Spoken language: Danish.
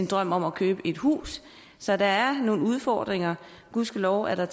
drøm om at købe et hus så der er nogle udfordringer gudskelov er der